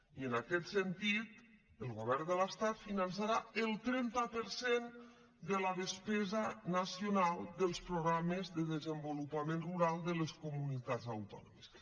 i en aquest sentit el govern de l’estat finançarà el trenta per cent de la despesa nacional dels programes de desenvolupament rural de les comunitats autònomes